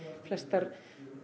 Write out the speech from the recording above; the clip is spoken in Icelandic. flestar